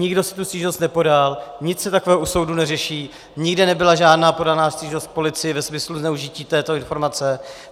Nikdo si tu stížnost nepodal, nic se takového u soudu neřeší, nikde nebyla žádná podaná stížnost policii ve smyslu zneužití této informace.